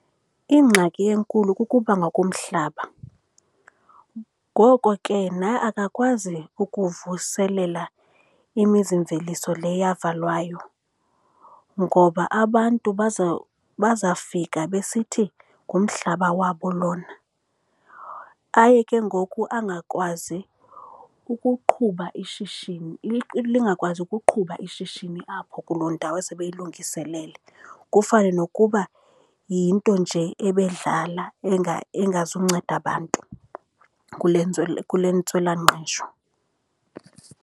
Ingxaki enkulu kukuphangwa komhlaba. Ngoko ke na akakwazi ukuvuselela imizimveliso le yavalwayo ngoba abantu bazafika besithi ngumhlaba wabo lona, aye ke ngoku angakwazi ukuqhuba ishishini, lingakwazi ukuqhuba ishishini apho kuloo ndawo esebeyilungiselele. Kufane nokuba yinto nje ebedlala engazunceda bantu kule ntswelangqesho.